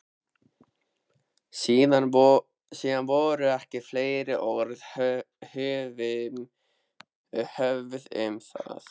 Síðan voru ekki fleiri orð höfð um það.